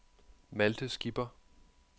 Malte Skipper